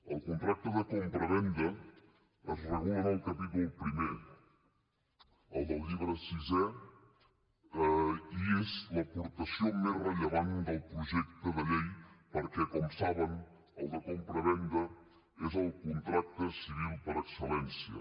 el contracte de compravenda es regula en el capítol primer el del llibre sisè i és l’aportació més rellevant del projecte de llei perquè com saben el de compravenda és el contracte civil per excel·lència